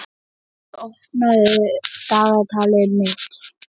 Auður, opnaðu dagatalið mitt.